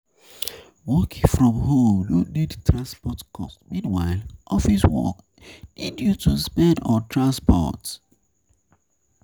Working from home no need transport cost meanwhile office work need you to spend on transport